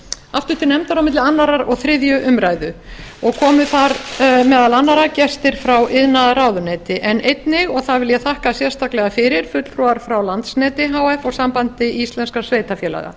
aftur til nefndar á milli annars og þriðju umræðu og komu þar meðal annarra gestir frá iðnaðarráðuneyti en einnig og það vil ég þakka sérstaklega fyrir fulltrúar frá landsneti h f og sambandi íslenskra sveitarfélaga